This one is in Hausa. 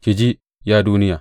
Ki ji, ya duniya.